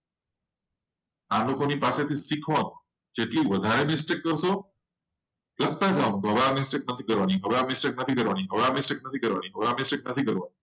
આ લોકોની પાસેથી કઈ શીખવાનું જેટલી વધારે mistake કરશો. એટલું યાદ રાખજો કે હવે આ mistake નથી કરવાનું. આ mistake નથી કરવાની.